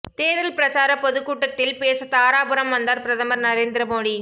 தேர்தல் பிரசார பொதுக்கூட்டத்தில் பேச தாராபுரம் வந்தார் பிரதமர் நரேந்திர மோடி